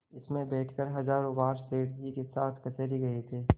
इसमें बैठकर हजारों बार सेठ जी के साथ कचहरी गये थे